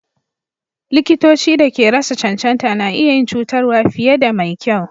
Likitoci da ke rasa cancanta na iyi yin cutarwa fiye da mai kyau.